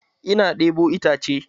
Ina ɗebo itace